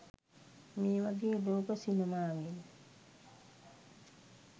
මේවගේ ලෝක සිනමාවෙන්